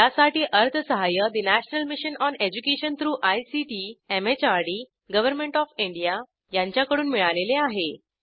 यासाठी अर्थसहाय्य national mission on education through ICT MHRD government of India यांच्याकडून मिळालेले आहे